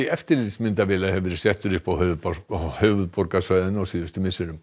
eftirlitsmyndavéla hefur verið settur upp á höfuðborgarsvæðinu á síðustu misserum